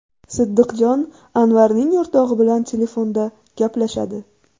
Siddiqjon Anvarning o‘rtog‘i bilan telefonda gaplashadi.